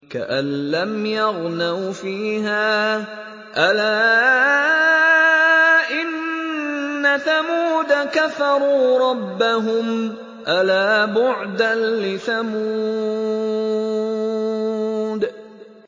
كَأَن لَّمْ يَغْنَوْا فِيهَا ۗ أَلَا إِنَّ ثَمُودَ كَفَرُوا رَبَّهُمْ ۗ أَلَا بُعْدًا لِّثَمُودَ